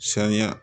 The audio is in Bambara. Saniya